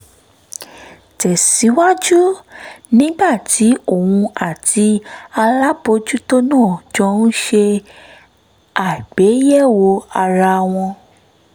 tẹ̀ síwájú nígbà tí òun àti alábòójútó náà jọ ń ṣe àgbéyẹ̀wò ara wọn